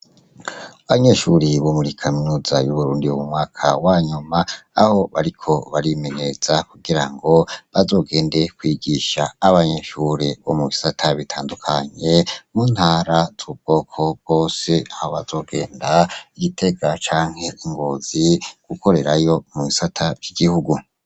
Abanyeshure bo muri kaminuza yuburundi bo mu mwaka wanyuma aho bariko barimenyereza kugirango bazogenda kwigisha abanyeshure bo mubisata bitandukanye mu ntara zubwoko bwose, aho bazogenda gitega canke ngozi gukorerayo mubisata vyigihugu.